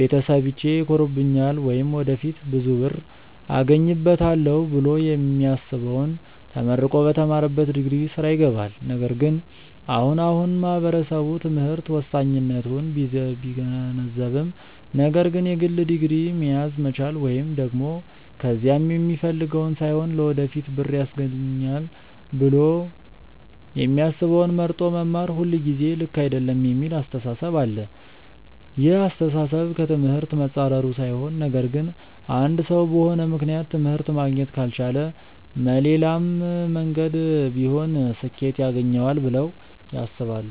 ቤተሰቢቼ ይኮሩብኛል ወይም ወደፊት ብዙ ብር አገኝበታለው ብሎ የሚያስበውን ተመርቆ በተማረበት ዲግሪ ስራ ይገባል። ነገር ግን አሁን አሁን ማህበረሰቡ ትምህርት ወሳኝነቱን ቢገነዘብም ነገር ግን የግድ ዲግሪ መያዝ መቻል ወይም ደግም ከያዘም የሚፈልገውን ሳይሆን ለወደፊት ብር ያስገኘኛል ብሎ የሚያስበውን መርጦ መማር ሁልጊዜ ልክ አይደለም የሚል አስተሳሰብ አለ። ይህ አስተሳሰብ ከ ትምህርት መፃረሩ ሳይሆን ነገር ግን አንድ ሰው በሆነ ምክንያት ትምህርት ማግኘት ካልቻለ መሌላም መንገድ ቢሆን ስኬት ያገኘዋል ብለው ያስባሉ።